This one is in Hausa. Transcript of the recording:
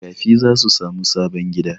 Makafi za su sami sabon gida.